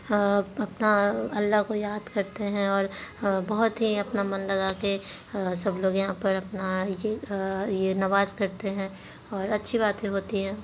अ अपना अल्लाह को याद करते हैंऔर बहुत ही अपना मन लगा के सब लोग यहाँ पर अपना ये अ-अ नमाज करते हैं और अच्छी बाते होती हैं।